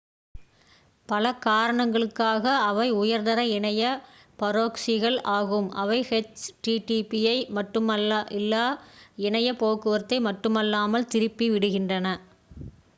பல காரணங்களுக்காக அவை உயர்தர இணைய பரொக்ஸிகள் ஆகும் அவை ஹெச் டி டி பி யை மட்டுமல்லாமல் எல்லா இணைய போக்குவரத்தை மட்டுமல்லாமல் திருப்பி விடுகின்றன